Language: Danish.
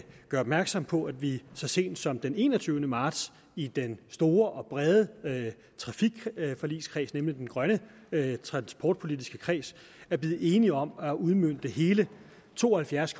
gøre opmærksom på at vi så sent som den enogtyvende marts i den store og brede trafikforligskreds nemlig den grønne transportpolitiske kreds blev enige om at udmønte hele to og halvfjerds